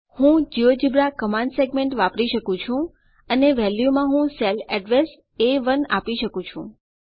હું GeoGebra command segment વાપરી શકું છું અને વેલ્યુમાં હું સેલ અડ્રેસ એ1 આપી શકું છું